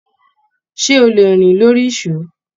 Ṣé o lè rìn lórí ìsó?